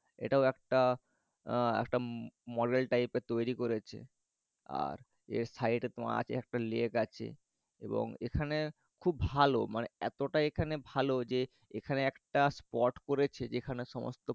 এটাও একটা আহ একটা উম model type এর তৈরি করেছে আর এর side এ তোমার আছে একটা lake আছে এবং এখানে খুব ভালো মানে এতটা এখানে ভালো যে এখানে একটা spot করেছে যেখানে সমস্ত